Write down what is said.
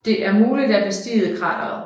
Det er muligt at bestige krateret